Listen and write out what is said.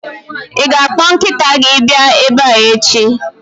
Ị ga-akpọ nkịta gị abịa ebe a echi!